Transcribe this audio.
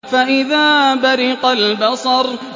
فَإِذَا بَرِقَ الْبَصَرُ